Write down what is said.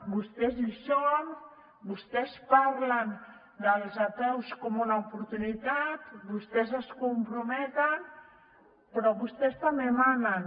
vostès hi són vostès parlen dels apeus com una oportunitat vostès s’hi comprometen però vostès també manen